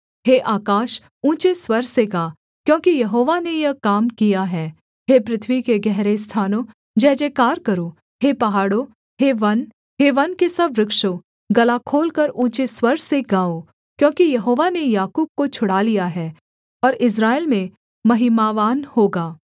हे आकाश ऊँचे स्वर से गा क्योंकि यहोवा ने यह काम किया है हे पृथ्वी के गहरे स्थानों जयजयकार करो हे पहाड़ों हे वन हे वन के सब वृक्षों गला खोलकर ऊँचे स्वर से गाओ क्योंकि यहोवा ने याकूब को छुड़ा लिया है और इस्राएल में महिमावान होगा